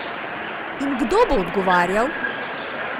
In kdo bo odgovarjal?